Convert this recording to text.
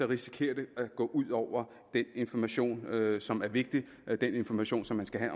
risikerer at gå ud over den information som er vigtig og den information som man skal have